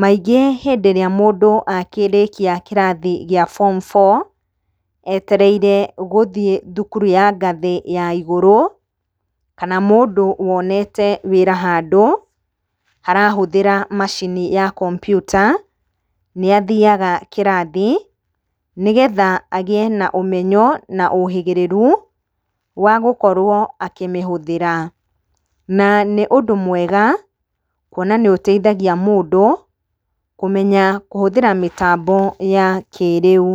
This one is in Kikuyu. Maingĩ hĩndĩ ĩrĩa mũndũ akĩrĩkia kĩrathi kĩa form four etereire gũthiĩ thukuru ya ngathĩ ya igũrũ kana mũndũ wonete wĩra handũ harahũthĩra macini ya computer nĩ athiaga kĩrathi nĩgetha agĩe na ũmenyo na ũhĩgĩrĩru wa gũkorwo akĩmĩhũthĩra. Na nĩ ũndũ mwega kũona nĩ ũteithagia mũndũ kũmenya kũhũthĩra mĩtambo ya kĩĩrĩu.